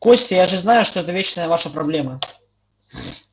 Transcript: костя я же знаю что это вечная ваша проблема